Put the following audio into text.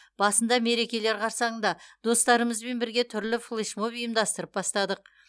басында мерекелер қарсаңында достарымызбен бірге түрлі флешмоб ұйымдастырып бастадық